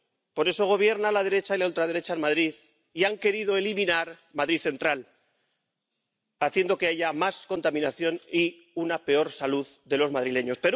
por eso gobierna la derecha y la ultraderecha en Madrid y han querido eliminar Madrid Central, haciendo que haya más contaminación y una peor salud de los madrileños.